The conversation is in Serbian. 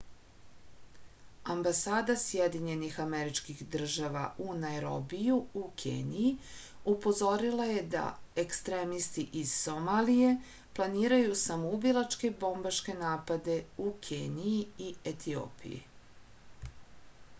ambasada sjedinjenih američkih država u najrobiju u keniji upozorila je da ekstremisti iz somalije planiraju samoubilačke bombaške napade u keniji i etiopiji